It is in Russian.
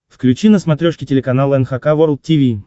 включи на смотрешке телеканал эн эйч кей волд ти ви